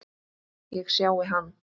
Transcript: Ég sjái hann.